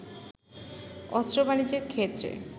অস্ত্র বাণিজ্যের ক্ষেত্রে